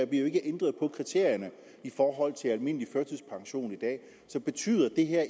bliver ændret på kriterierne for at give almindelig førtidspension i dag så betyder det her